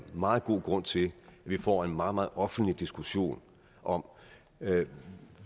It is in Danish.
meget god grund til at vi får en meget meget offentlig diskussion om hvad